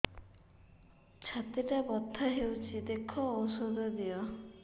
ଛାତି ଟା ବଥା ହଉଚି ଦେଖ ଔଷଧ ଦିଅ